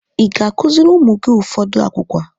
Ịga akụziri ụmụ gị ụfọdụ agwugwa?